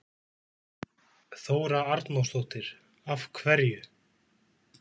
Þóra Arnórsdóttir: Af hverju?